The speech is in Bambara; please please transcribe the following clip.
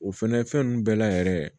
O fɛnɛ fɛn nunnu bɛɛ la yɛrɛ